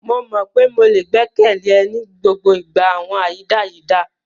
Mo mọ pe mo le gbẹkẹle e ni gbogbo awọn ayidayida.